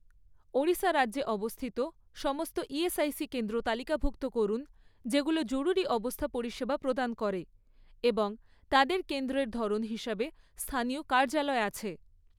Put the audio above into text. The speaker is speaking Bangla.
ওড়িশা রাজ্যে অবস্থিত সমস্ত ইএসআইসি কেন্দ্র তালিকাভুক্ত করুন যেগুলো জরুরি অবস্থা পরিষেবা প্রদান করে এবং তাদের কেন্দ্রের ধরন হিসাবে স্থানীয় কার্যালয় আছে।